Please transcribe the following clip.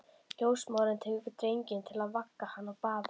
Ljósmóðirin tekur drenginn til að vega hann og baða.